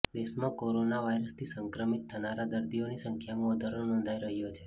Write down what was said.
દેશમાં કોરોના વાઈરસથી સંક્રમિત થનારા દર્દીઓની સંખ્યામાં વધારો નોંધાઈ રહ્યો છે